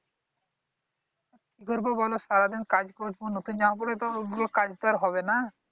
কি করবো বল? সারাদিন কাজ করবো নতুন জামা পড়লে তো আর ওগুলো কাজগুলো তো আর হবে না।